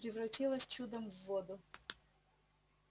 превратилась чудом в воду